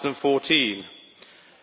2014.